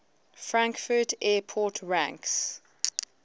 frankfurt airport ranks